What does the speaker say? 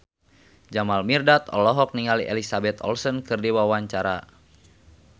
Jamal Mirdad olohok ningali Elizabeth Olsen keur diwawancara